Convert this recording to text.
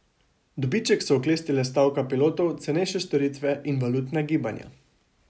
Dobiček so oklestile stavka pilotov, cenejše storitve in valutna gibanja.